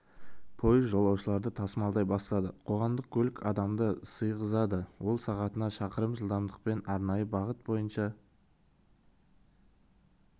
пойыз жолаушыларды тасымалдай бастады қоғамдық көлік адамды сыйғызады ол сағатына шақырым жылдамдықпен арнайы бағыт бойынша